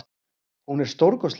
Hún er stórkostleg.